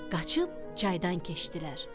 Qaçıb çaydan keçdilər.